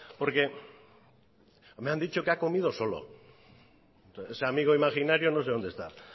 porque me han dicho que ha comido solo ese amigo imaginario no sé dónde está